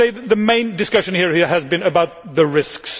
I would say that the main discussion here has been about the risks.